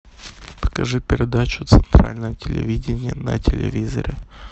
покажи передачу центральное телевидение на телевизоре